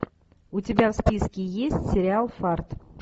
у тебя в списке есть сериал фарт